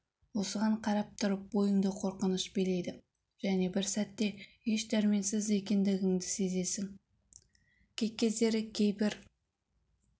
осыған қарап тұрып бойыңды қорқыныш билейді және бір сәтте еш дәрменсіз екендігіңді сезесің кей кездері кейбір